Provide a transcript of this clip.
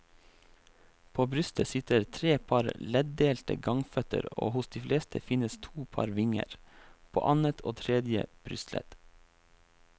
På brystet sitter tre par leddelte gangføtter og hos de fleste finnes to par vinger, på annet og tredje brystledd.